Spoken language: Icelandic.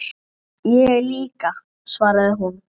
Ég líka, svaraði hún.